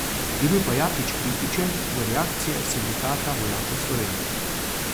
Je bil pa Jakič kritičen do reakcije Sindikata vojakov Slovenije.